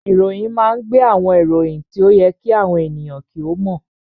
Ìròyìn máa ń gbé àwọn ìròyìn tí ó yẹ kí àwọn ènìyàn kí ó mọ̀